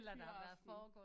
Fyraften